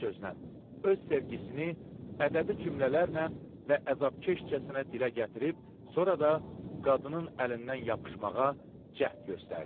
Bir sözlə, öz sevgisini ədəbi cümlələrlə və əzabkeşcəsinə dilə gətirib, sonra da qadının əlindən yapışmağa cəhd göstərdi.